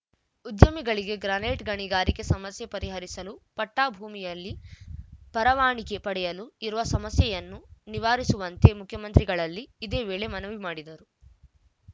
ಉದ್ಯಮಿಗಳಿಗೆ ಗ್ರಾನೈಟ್‌ ಗಣಿಗಾರಿಕೆ ಸಮಸ್ಯೆ ಪರಿಹರಿಸಲು ಪಟ್ಟಾಭೂಮಿಯಲ್ಲಿ ಪರವಾನಿಗೆ ಪಡೆಯಲು ಇರುವ ಸಮಸ್ಯೆಯನ್ನು ನಿವಾರಿಸುವಂತೆ ಮುಖ್ಯಮಂತ್ರಿಗಳಲ್ಲಿ ಇದೇ ವೇಳೆ ಮನವಿ ಮಾಡಿದರು